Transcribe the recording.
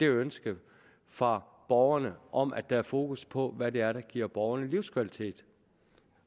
ønsket fra borgerne om at der er fokus på hvad det er der giver borgerne livskvalitet